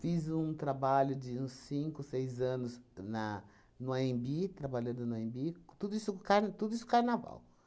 Fiz um trabalho de uns cinco, seis anos na no Anhembi trabalhando no Anhembi, tudo isso car tudo isso Carnaval.